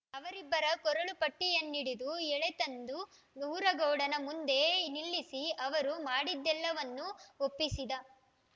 ಅವರಿಬ್ಬರ ಕೊರಳು ಪಟ್ಟಿಯನ್ನಿಡಿದು ಎಳೆತಂದು ಊರಗೌಡನ ಮುಂದೆ ನಿಲ್ಲಿಸಿ ಅವರು ಮಾಡಿದ್ದೆಲ್ಲವನ್ನೂ ಒಪ್ಪಿಸಿದ